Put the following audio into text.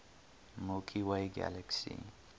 milky way galaxy